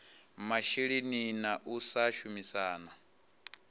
masheleni na u sa shumisana